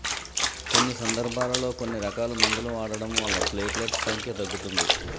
కొన్ని సందర్భాలలో కొన్నిరకాల మందులు వాడడం వల్లా ప్లేట్లెట్స్ సంఖ్య తగ్గుతుంది